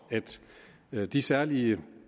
at løse de særlige